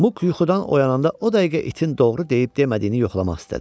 Muk yuxudan oyananda o dəqiqə itin doğru deyib demədiyini yoxlamaq istədi.